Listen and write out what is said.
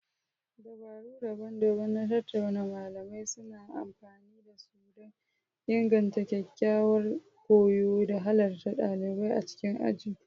Dabaru daban-daban na tattaunawa malamai suna amfani da su don inganta ƙwaƙƙwaran koyo da halartar ɗalibai a cikin aji.